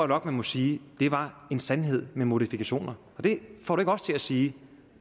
nok man må sige var en sandhed med modifikationer og det får du ikke os til at sige